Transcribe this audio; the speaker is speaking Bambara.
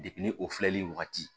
ni o filɛli wagati